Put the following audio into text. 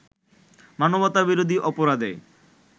মানবতাবিরোধী অপরাধে